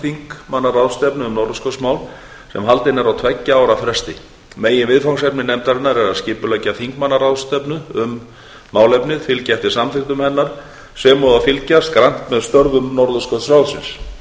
um norðurskautsmál sem haldin er á tveggja ára fresti meginviðfangsefni nefndarinnar eru að skipuleggja þingmannaráðstefnu um málefnið fylgja eftir samþykktum hennar sem og að fylgjast grannt með störfum norðurskautsráðsins á